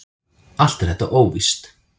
Allt er þetta óvíst.